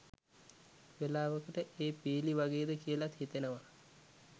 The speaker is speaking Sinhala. වෙලාවකට ඒ පීලි වගේද කියලත් හිතෙනවා